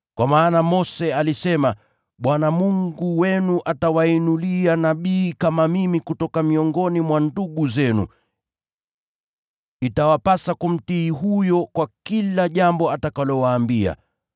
Kwa maana Mose alisema, ‘Bwana Mungu wenu atawainulia nabii kama mimi kutoka miongoni mwa ndugu zenu. Itawapasa kumtii huyo kwa kila jambo atakalowaambia.